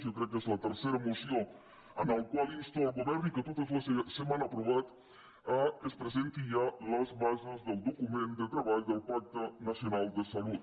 jo crec que és la tercera moció en la qual insto el govern i que totes se m’han aprovat que es presentin ja les bases del document de treball del pacte nacional de salut